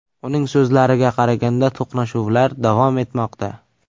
Uning so‘zlariga qaraganda, to‘qnashuvlar davom etmoqda.